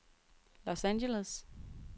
Los Angeles